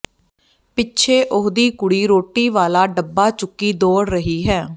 ਪਿੱਛੇ ਉਹਦੀ ਕੁੜੀ ਰੋਟੀ ਵਾਲਾ ਡੱਬਾ ਚੁੱਕੀ ਦੌੜ ਰਹੀ ਹੈ